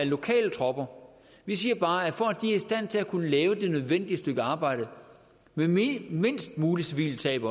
lokale tropper vi siger bare at for at de er i stand til at kunne lave det nødvendige stykke arbejde med mindst mindst mulige civile tab